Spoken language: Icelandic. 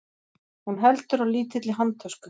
Hún heldur á lítilli handtösku.